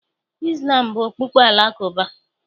Izlam bụ okpukpe Alakụba.